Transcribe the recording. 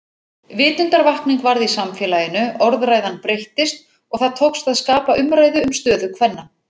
Vitundarvakning varð í samfélaginu, orðræðan breyttist og það tókst að skapa umræðu um stöðu kvenna.